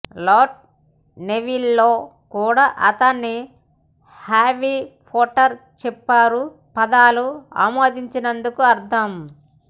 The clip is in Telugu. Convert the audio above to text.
లాట్ నెవిల్లే కూడా అతనికి హ్యారీ పోటర్ చెప్పారు పదాలు ఆమోదించినందుకు అర్థం